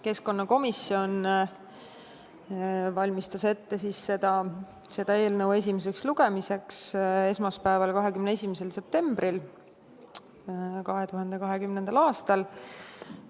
Keskkonnakomisjon valmistas seda eelnõu esimeseks lugemiseks ette esmaspäeval, 21. septembril 2020. aastal.